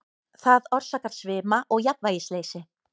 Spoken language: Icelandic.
Það orsakar svima og jafnvægisleysi.